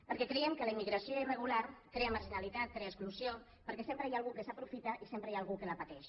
perquè creiem que la immigració irregular crea marginalitat crea exclusió perquè sempre hi ha algú que s’aprofita i sempre hi ha algú que la pateix